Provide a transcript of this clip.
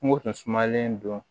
Kungo kunsumanlen do